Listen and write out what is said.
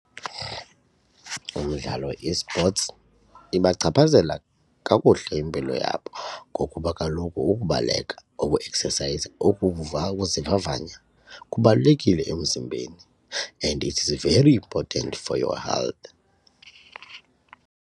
Umdlalo e-sports ibachaphazela kakuhle impilo yabo ngokuba kaloku ukubaleka ukueksesayiza ukuzivavanya kubalulekile emzimbeni and it is very important for your health.